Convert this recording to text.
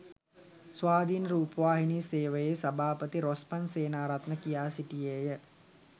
ස්වාධීන රුපවාහිනී සේවයේ සභාපති රොස්මන්ඩ් සේනාරත්න කියා සිටියේය